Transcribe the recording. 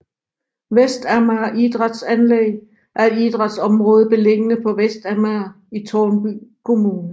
Vestamager Idrætsanlæg er et idrætsområde beliggende på Vestamager i Tårnby Kommune